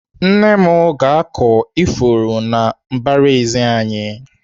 Nne m ga-akụ ifuru na mbaraezi anyị.